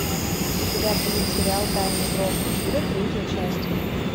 у тебя будет сериал тайны броукенвуда третья часть